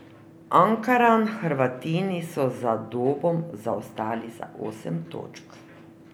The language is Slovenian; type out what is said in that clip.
Ankaran Hrvatini so za Dobom zaostali za osem točk.